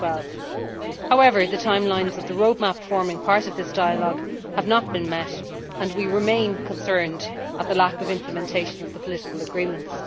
2012. However, the timelines of the roadmap forming part of this dialogue have not been met, and we remain concerned at the lack of implementation of the political agreements.